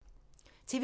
TV 2